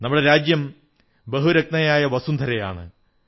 നമ്മുടെ രാജ്യം ബഹുരത്നയായ വസുന്ധരയാണ്